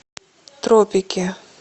тропики